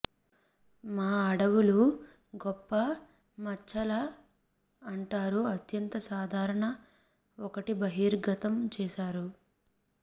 మా అడవులు గొప్ప మచ్చల అంటారు అత్యంత సాధారణ ఒకటి బహిర్గతం చేశారు